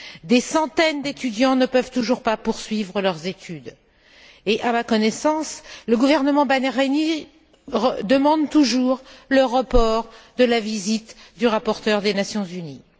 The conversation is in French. Des centaines d'étudiants ne peuvent toujours pas poursuivre leurs études et, à ma connaissance, le gouvernement bahreïnien demande toujours le report de la visite du rapporteur des Nations unies.